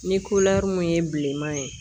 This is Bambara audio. Ni mun ye bileman ye